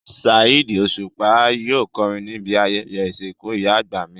Saheed Osupa yóò kọrin níbi ayẹyẹ ìsìnkú ìyá àgbà mi